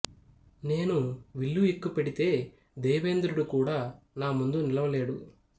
నేను విల్లు ఎక్కుపెడితే దేవేంద్రుడు కూడా నా ముందు నిలువలేడు